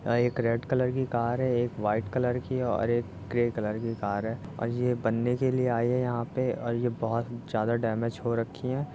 यह एक red colour की कार है एक व्हाइट कलर की है और एक ग्रे कलर की कार है और ये बनने के लिए आए हैं यहाँ पे और ये बोहोत ज्यादा डैमेज हो रखी हैं।